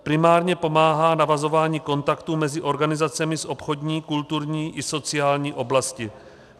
Primárně pomáhá navazování kontaktů mezi organizacemi z obchodní, kulturní i sociální oblasti.